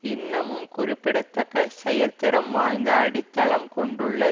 இன்னமும் குறிப்பிடத்தக்க செயற்திறம் வாய்ந்த அடித்தளம் கொண்டுள்ள